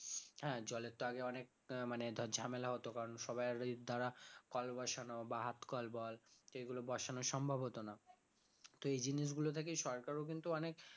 হ্যাঁ জলের তো আগে অনেক আহ মানে ধর ঝামেলা হতো কারণ সবাই এর দ্বারা কল বসানো বা হাত কল বল এগুলো বসানোর সম্ভব হতো না তো এই জিনিসগুলো থেকে সরকারও কিন্তু অনেক